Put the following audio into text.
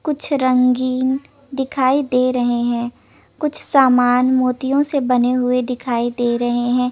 कुछ रंगीन दिखाई दे रहे है कुछ सामान मोतियों से बने दिखाई दे रहे है।